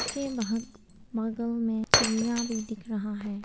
के वहा बगल में चिड़िया भी दिख रहा है।